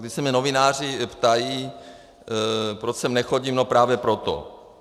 Když se mě novináři ptají, proč sem nechodím, no právě proto.